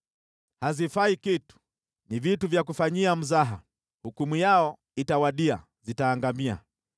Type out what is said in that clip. Havifai kitu, ni vitu vya kufanyia mzaha, hukumu yavyo itakapowadia, vitaangamia.